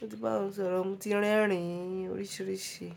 Mo ti bá wọn sọ̀rọ̀, mo ti rerin oríṣiríṣi.